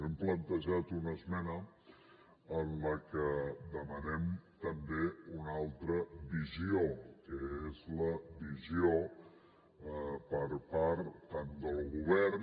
hem plantejat una esmena en la que demanem també una altra visió que és la visió per part tant del govern